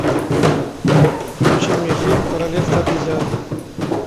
включи мне фильм королевство обезьян